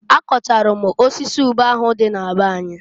A kọchalụ m osisi ube ahụ dị na be anyị.